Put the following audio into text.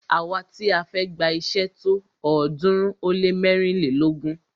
Àwa ti a fẹ́ gba iṣé tó ọ̀ọ́dúnrún ó lé mẹ́rìnlélógún.